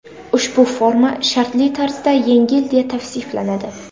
Ushbu forma shartli tarzda yengil deya tavsiflanadi.